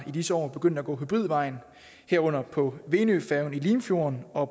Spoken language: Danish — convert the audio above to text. i disse år begyndt at gå hybridvejen herunder på venøfærgen i limfjorden og